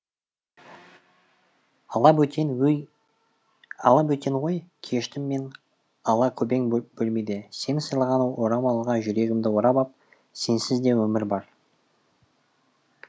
алабөтен ой кештім мен алакөбең бөлмеде сен сыйлаған орамалға жүрегімді орап ап сенсіз де өмір бар